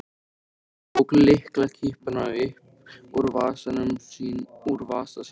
Ragnar tók lyklakippu upp úr vasa sínum.